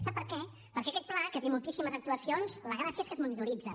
sap per què perquè aquest pla que té moltíssimes actuacions la gràcia és que es monitoritzen